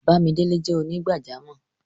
Bàmídélẹ̀ jẹ́ onígbàjàmọ́.